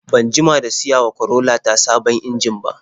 Ban jima da siyawa Corolla ta sabon injin ba.